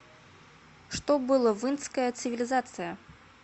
что было в индская цивилизация